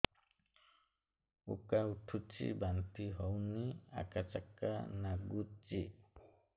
ଉକା ଉଠୁଚି ବାନ୍ତି ହଉନି ଆକାଚାକା ନାଗୁଚି